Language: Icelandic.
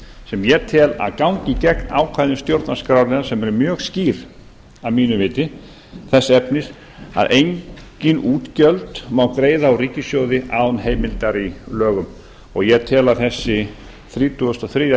sem ég tel að gangi gegn ákvæðum stjórnarskrárinnar sem er mjög skýr að mínu viti þess efnis að engin útgjöld má greiða úr ríkissjóði án heimildar í lögum og ég tel að þessi þrítugasta og þriðju